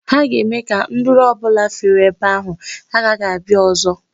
Ha ga-eme ka nduru ọ bụla fere ebe ahụ, agaghị abịa ọzọ.